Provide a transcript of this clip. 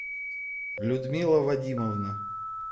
людмила вадимовна